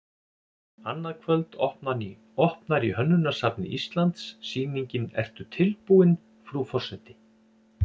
Annað kvöld opnar í Hönnunarsafni Íslands sýningin Ertu tilbúin, frú forseti?